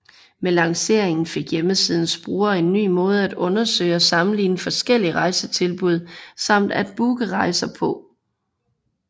Med lanceringen fik hjemmesidens brugere en ny måde at undersøge og sammenligne forskellige rejsetilbud samt at booke rejser på